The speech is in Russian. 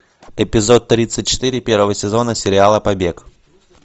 эпизод тридцать четыре первого сезона сериала побег